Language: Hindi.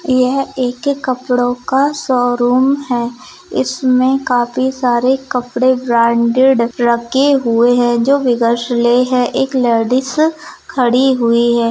यह एक कपड़ों का शोरूम है उसमें काफी सारे कपड़े ब्रांडेड रखे हुए हैं जो ले हैं एक लेडिस खड़ी हुई है।